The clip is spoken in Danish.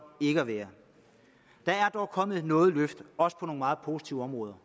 ikke at være der er dog kommet noget løft også på nogle meget positive områder